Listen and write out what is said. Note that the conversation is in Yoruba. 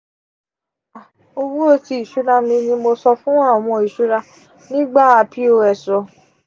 owo ti iṣura mi ni mo san fun awọn iṣura nigba pos um